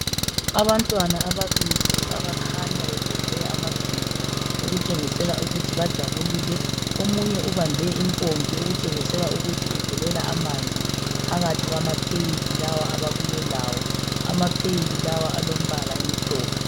Abantwana ababili abakhanya beveze amazinyo, okutshengisela ukuthi bajabulile. Omunye ubambe impompi okutshengisela ukuthi uvulela amanzi phakathi kwamapheyili lawa ababuyelawo. Amapheyili lawo alombala omhlophe.